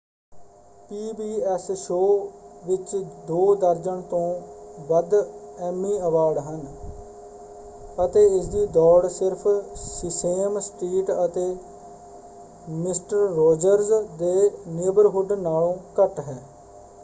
PBS. Show ਵਿੱਚ ਦੋ ਦਰਜਨ ਤੋਂ ਵੱਧ ਐਮੀ ਅਵਾਰਡ ਹਨ ਅਤੇ ਇਸਦੀ ਦੌੜ ਸਿਰਫ਼ ਸੀਸੇਮ ਸਟ੍ਰੀਟ ਅਤੇ ਮਿਸਟਰ ਰੌਜਰਜ਼ ਦੇ ਨੇਬਰਹੁੱਡ ਨਾਲੋਂ ਘੱਟ ਹੈ।